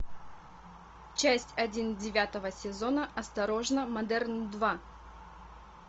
часть один девятого сезона осторожно модерн два